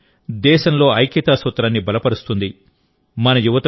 ఈ పరుగు దేశంలో ఐక్యతా సూత్రాన్ని బలపరుస్తుంది